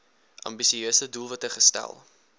ambisieuse doelwitte gestel